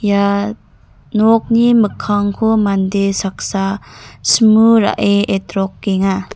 ia nokni mikkangko mande saksa simu ra·e etrokenga.